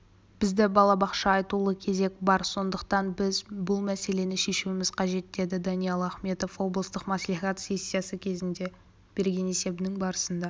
бізде балабақша айтулы кезек бар сондықтан біз бұл мәселені шешуіміз қажет деді даниал ахметов облыстық мәслихат сессиясы кезінде берген есебінің барысында